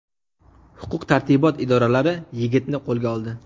Huquq-tartibot idoralari yigitni qo‘lga oldi.